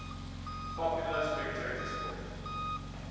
popular spectator sport